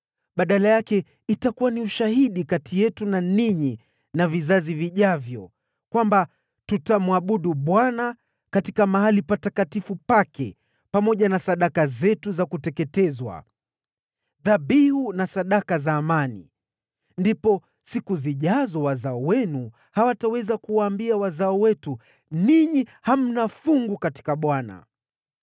Badala yake, itakuwa ni ushahidi kati yetu na ninyi na vizazi vijavyo, kwamba tutamwabudu Bwana katika mahali patakatifu pake pamoja na sadaka zetu za kuteketezwa, dhabihu na sadaka za amani. Ndipo katika siku zijazo, wazao wenu hawataweza kuwaambia wazao wetu, ‘Ninyi hamna fungu katika Bwana .’